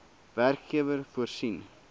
werkgewer voorsien